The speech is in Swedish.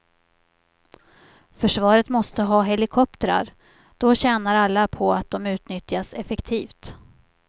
Försvaret måste ha helikoptrar, då tjänar alla på att de utnyttjas effektivt.